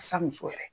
Sa muso yɛrɛ